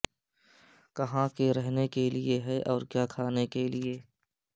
کہاں کے رہنے کے لئے ہے اور کیا کھانے کے لئے